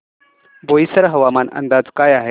बोईसर हवामान अंदाज काय आहे